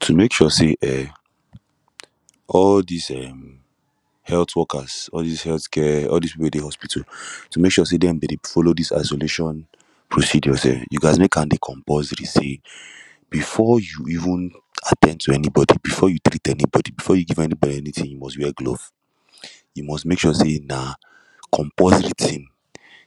To mek sure say um all dis um healh workers all dis health care all dis people wey dey hospital to mek sure say dem dem dey follow dis isolation procedure um you gast mek am dey compulsory say before you even at ten d to anybody before you treat anybody before you give anybody anytin you must wear gloves you must mek sure say na compulsory tin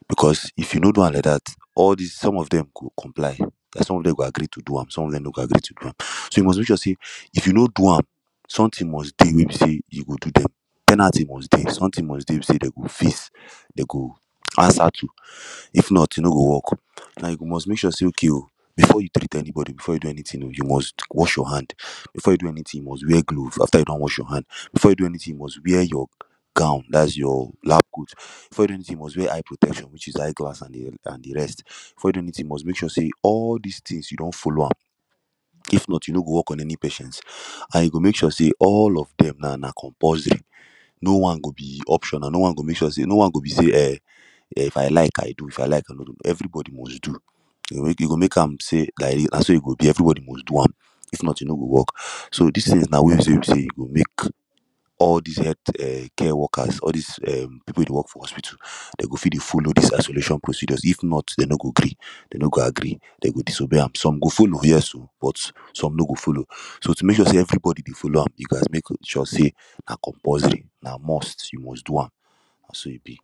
becos if you no do am like dat all dis some of dem go comply some of dem go agree to do am some of dem no go agree to do am so you must mek sure say if you no do am sometin must dey wey be say you go do dem penalty must dey sometin must dey wey be say dem go face dem go answer to if not e no go work like you must mek sure say okay before you treat anybody before you do anytin oo you must wash your hand before you do anytin you must wear glove after you don wash your hand before you do anytin you must wear your gown dats your lab coat before you do anytin you must wear eye protection wich is eye glass an de rest before you do anytin you must mek sure say all dis tins you don follow am if not you no go work on any patient and you go make sure say all of them now na compulsory no wan go be optional no one go mek sure say no one go be say um if I like I do if I like I no do everybody go dey do you go mek am say na so e go be every body must do am if not e no go work so dis tins na ways wey be say e go mek all dis healt care workers all dis um people wey dey work for hospital dem go fit dey follow dis isolation procedures if not dem no go gree dem no go agree dem go disobey am some go follow yes oo but some no go follow so to mek sure say everybody dey follow am you gast mek sure say na compulsory na must you must do am na so e be